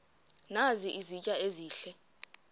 nazi izitya ezihle